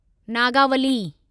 Nagavali